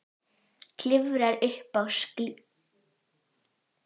Klifrar upp á skýlið og hendir húfunni niður.